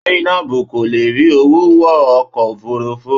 Zainab kò lè rí owó wọ ọkọ̀ òfurufú.